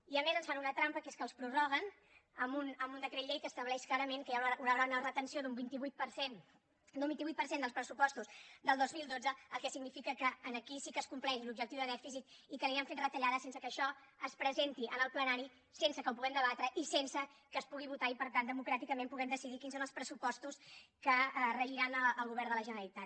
i a més ens fan una trampa que és que els prorroguen amb un decret llei que estableix clarament que hi haurà una retenció en un vint vuit per cent dels pressupostos del dos mil dotze el que significa que aquí sí que es compleix l’objectiu de dèficit i que aniran fent retallades sense que això es presenti en el plenari sense que ho puguem debatre i sense que es pugui votar i per tant democràticament puguem decidir quins són els pressupostos que regiran el govern de la generalitat